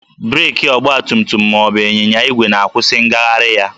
Breekị ọgbatumtum ma ọ bụ ịnyịnya igwe na-akwụsị ngagharị ya